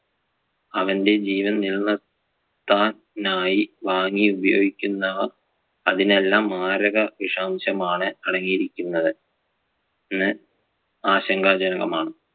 അവന്‍റെ ജീവൻ നിലനിർത്താൻ ആയി വാങ്ങി ഉപയോഗിക്കുന്നവ അതിൽ എല്ലാം മാരക വിഷാംശം ആണ് അടങ്ങി ഇരിക്കുന്നത് എന്ന് ആശങ്കാജനകമാണ്.